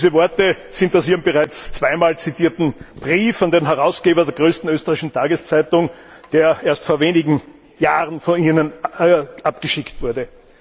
Diese Worte stammen aus ihrem bereits zweimal zitierten Brief an den Herausgeber der größten österreichischen Tageszeitung, der erst vor wenigen Jahren von Ihnen abgeschickt wurde.